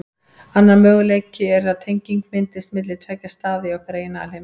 Annar möguleiki er að tenging myndist milli tveggja staða í okkar eigin alheimi.